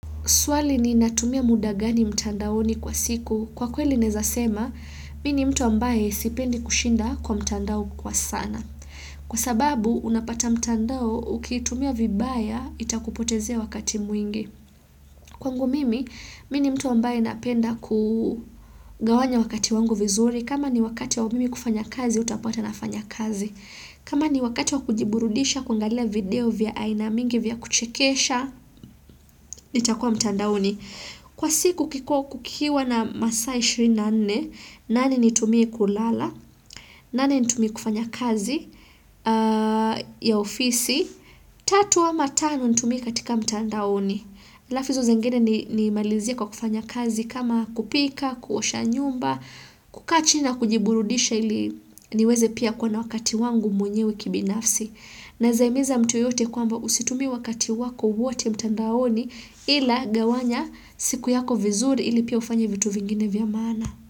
Swali ni natumia muda gani mtandaoni kwa siku. Kwa kweli naeza sema, mi ni mtu ambaye sipendi kushinda kwa mtandao kwa sana. Kwa sababu, unapata mtandao ukitumia vibaya, itakupotezea wakati mwingi. Kwangu mimi, mi ni mtu ambaye napenda kugawanya wakati wangu vizuri. Kama ni wakati wa mimi kufanya kazi, utapata nafanya kazi. Kama ni wakati wa kujiburudisha, kuangalia video vya aina mingi vya kuchekesha, nitakua mtandaoni. Kwa siku kukiwa na masaa 24, nane nitumie kulala, nane nitumie kufanya kazi ya ofisi, tatu ama tano nitumie katika mtandaoni. Alafu hizo zengine ni malizie kwa kufanya kazi kama kupika, kuosha nyumba, kukaa chini na kujiburudisha ili niweze pia kuwa na wakati wangu mwenyewe kibinafsi. Naeza himiza mtu yoyote kwamba usitumie wakati wako wote mtandaoni ila gawanya siku yako vizuri ili pia ufanye vitu vingine vya maana.